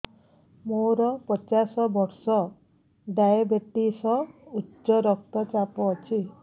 ମୋର ପଚାଶ ବର୍ଷ ଡାଏବେଟିସ ଉଚ୍ଚ ରକ୍ତ ଚାପ ଅଛି